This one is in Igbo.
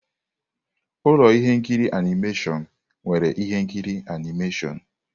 Ụlọ ihe nkiri animation nwere ihe nkiri animeshịon.